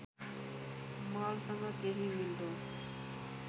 मलसँग केही मिल्दो